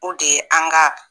O de ye an ka